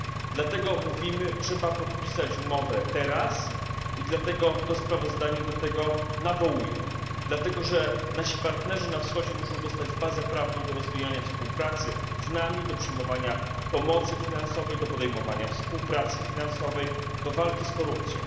Dlatego mówimy trzeba podpisać umowę teraz, to sprawozdanie do tego nawołuje, ponieważ nasi partnerzy na Wschodzie muszą dostać podstawę prawną do rozwijania współpracy znami, do przyjmowania pomocy finansowej, do podejmowania współpracy finansowej, do walki z korupcją.